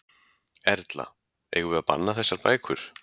Erla: Eigum við að banna þessar bækur?